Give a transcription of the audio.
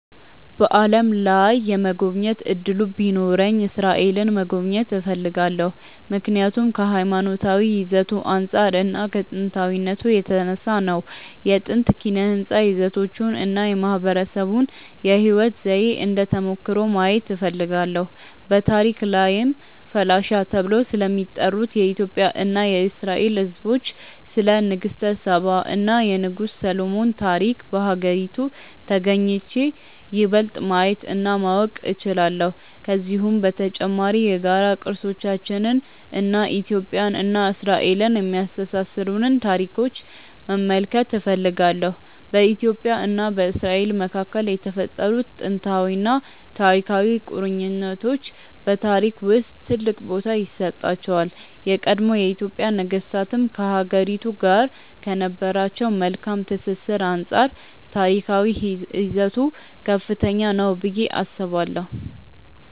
በዓለም ላይ የመጎብኘት እድሉ ቢኖረኝ እስራኤልን መጎብኘት እፈልጋለሁ። ምክንያቱም ከሀይማኖታዊ ይዘቱ አንፃር እና ከጥንታዊነቱ የተነሳ ነው። የጥንት ኪነ ህንፃ ይዘቶቹን እና የማህበረሰቡን የህይወት ዘዬ እንደ ተሞክሮ ማየት እፈልጋለሁ። በታሪክ ላይም ፈላሻ ተብለው ስለሚጠሩት የኢትዮጵያ እና የእስራኤል ህዝቦች፣ ስለ ንግስተ ሳባ እና የንጉስ ሰሎሞን ታሪክ በሀገሪቱ ተግኝቼ ይበልጥ ማየት እና ማወቅ እችላለሁ። ከዚሁም በተጨማሪ የጋራ ቅርሶቻችንን እና ኢትዮጵያን እና እስራኤልን የሚያስተሳስሩንን ታሪኮች መመልከት እፈልጋለሁ። በኢትዮጵያ እና በእስራኤል መካከል የተፈጠሩት ጥንታዊና ታሪካዊ ቁርኝቶች በታሪክ ውስጥ ትልቅ ቦታ ይሰጣቸዋል። የቀድሞ የኢትዮጵያ ነገስታትም ከሀገሪቱ ጋር ከነበራቸው መልካም ትስስር አንፃር ታሪካዊ ይዘቱ ከፍተኛ ነው ብዬ አስባለሁ።